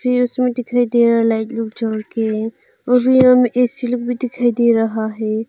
यह उसमें दिखाई दे रहा है लाइट लूट जल के उसी रूम में एक ए_सी भी दिखाई दे रहा है।